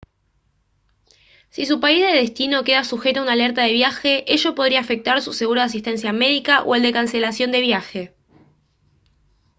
si su país de destino queda sujeto a una alerta de viaje ello podría afectar su seguro de asistencia médica o el de cancelación de viaje